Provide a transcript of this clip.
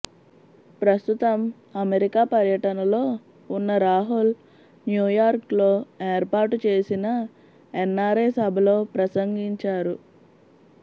ప్రస్తుతం అమెరికా పర్యటనలో ఉన్న రాహుల్ న్యూయార్క్లో ఏర్పాటు చేసిన ఎన్నారై సభలో ప్రసంగించారు